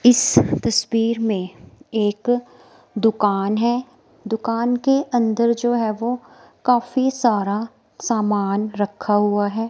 इस तस्वीर में एक दुकान है दुकान के अंदर जो है वो काफी सारा सामान रखा हुआ है।